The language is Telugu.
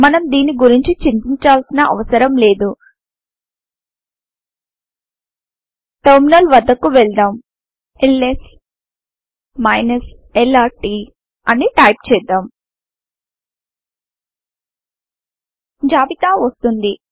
మనం దీని గురించి చింతించాల్సిన అవసరం లేదు టెర్మినల్ వద్దకు వెళ్దాం ల్స్ lrt అని టైపు చేద్దాం జాబితా వస్తుంది